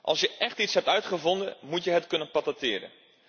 Als je echt iets hebt uitgevonden moet je het kunnen patenteren.